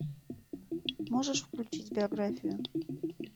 можешь включить биографию